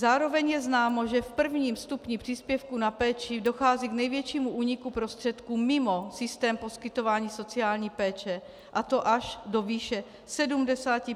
Zároveň je známo, že v prvním stupni příspěvku na péči dochází k největšímu úniku prostředků mimo systém poskytování sociální péče, a to až do výše 75 % mimo systém.